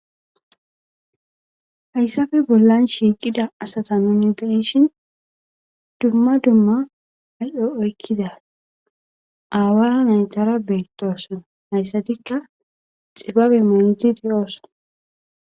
Hayssafe bollan shiiqida asata nuni dahishin dumma dumma ay'o oykkida aawara naytara beetoosana hayssatikka xibabe maondidi ooso.